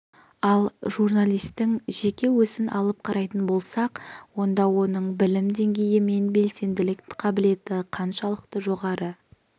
ал журналистің жеке өзін алып қарайтын болсақ онда оның білім деңгейі мен белсенділік қабілеті қаншалықты жоғары